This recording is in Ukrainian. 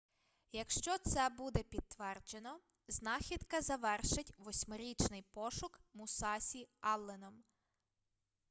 якщо це буде підтверджено знахідка завершить восьмирічний пошук мусасі алленом